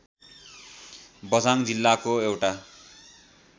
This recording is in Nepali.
बझाङ जिल्लाको एउटा